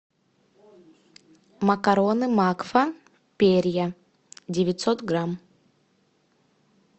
макароны макфа перья девятьсот грамм